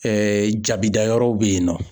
jabida yɔrɔw bɛ yen nɔ